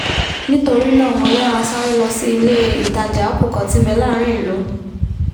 nítorínáà mo yára sáré lọ sí ilé-ìtajà apple kan tí nbẹ láàrin ìlú